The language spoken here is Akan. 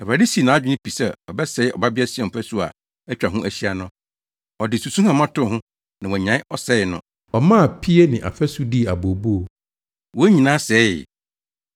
Awurade sii nʼadwene pi sɛ ɔbɛsɛe Ɔbabea Sion fasu a atwa ne ho ahyia no. Ɔde susuhama too ho na wannyae ɔsɛe no. Ɔmaa pie ne afasu dii abooboo; wɔn nyinaa sɛee.